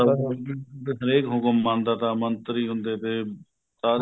ਅਹ ਹਰੇਕ ਹੁਕਮ ਮੰਨਦਾ ਤਾ ਮੰਤਰੀ ਹੁੰਦੇ ਤੇ ਸਾਰੇ